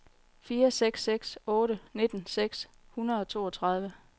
fire seks seks otte nitten seks hundrede og toogtredive